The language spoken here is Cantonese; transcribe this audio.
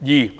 二